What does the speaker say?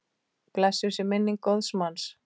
Blessuð sé minning góðs manns.